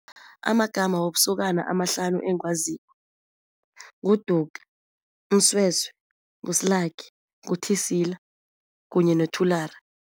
Amagama wobusokana amahlanu engiwaziko, nguDuka, uMsweswe, nguSlaki, nguThisila kunye noThulari.